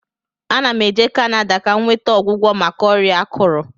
Ana m eje Kanada ka m nweta ọgwụgwọ maka ọrịa akụrụ